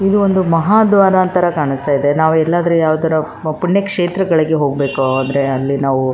ಇದು ಒಂದು ಮಹಾದ್ವಾರ ತರ ಕಾಣಿಸ್ತಾ ಇದೆ ನಾವು ಎಲ್ಲಾದ್ರೆ ಯಾವಾದರೂ ಪುಣ್ಯ ಕ್ಷೇತ್ರಗಳಿಗೆ ಹೋಗ್ಬೇಕು ಅಂದ್ರೆ ಅಲ್ಲಿ ನಾವು --